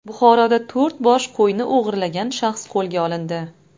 Buxoroda to‘rt bosh qo‘yni o‘g‘irlagan shaxs qo‘lga olindi.